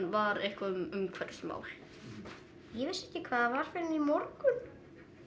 var eitthvað um umhverfismál ég vissi ekki hvað það var fyrr en í morgun